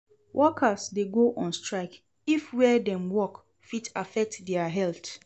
Workers de go on strike if where dem walk fit affect their health